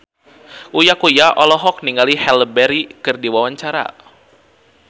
Uya Kuya olohok ningali Halle Berry keur diwawancara